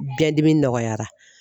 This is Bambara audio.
Biyɛndimi nɔgɔyara